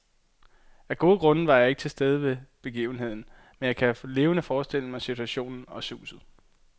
Af gode grunde var jeg ikke til stede ved begivenheden, men jeg kan levende forestille mig situationen og suset.